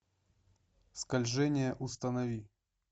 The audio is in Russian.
скольжение установи